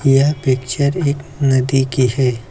यह पिक्चर एक नदी की है।